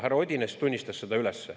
Härra Odinets tunnistas selle üles.